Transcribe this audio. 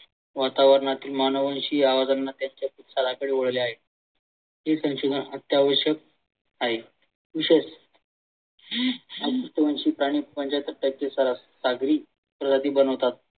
वातावरणातील मानवांशी कडे वळले. हे संशोधन अत्यावश्यक आहे. विशेष बनवतात